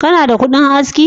Kana da kudin aski?